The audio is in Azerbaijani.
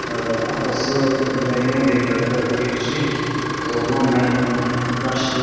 Atası müəyyən yerlərdə deyir ki, oğlan mənlə yaşıddır.